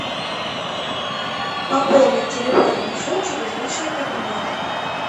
пополнить телефонный счет через личный кабинет